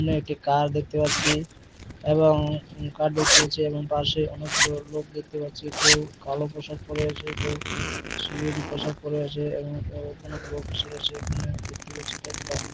এখানে একটি কার দেখতে পাচ্ছি-ই এবং কার দেখতে পাচ্ছি এবং পাশে অনেকগুলো লোক দেখতে পাচ্ছি কেউ কালো পোশাক পরে আছে কেউ সিকিউরিটি পোশাক পরে আছে এবং লোক আছে এখানে দেখতে পাচ্ছি --